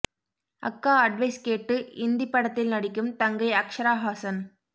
அக்கா அட்வைஸ் கேட்டு இந்தி படத்தில் நடிக்கும் தங்கை அக்ஷரா ஹாசன்